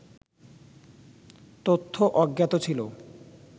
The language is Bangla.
তথ্য অজ্ঞাত ছিল